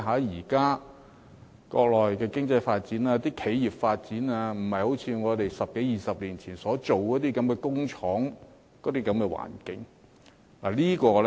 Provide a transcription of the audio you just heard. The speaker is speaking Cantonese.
現在國內的經濟發展、企業發展的情況，不再是十多二十年前，在國內開設工廠的那種環境。